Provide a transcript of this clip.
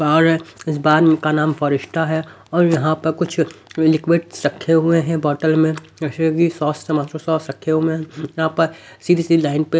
और इस बार इनका नाम फॉरेस्टा है और यहाँ पर कुछ लिक्विड्स रखे हुए हैं बोतल में जैसे कि सॉस टमाटो सॉस रखे हुए हैं यहाँ पर सीधी सी लाइन पे।